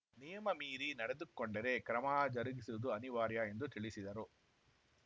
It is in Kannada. ನಿಯಮ ಮೀರಿ ನಡೆದುಕೊಂಡರೆ ಕ್ರಮ ಜರುಗಿಸುವುದು ಅನಿವಾರ್ಯ ಎಂದು ತಿಳಿಸಿದರು